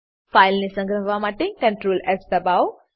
ફાઈલને સંગ્રહવા માટે CtrlS દબાવો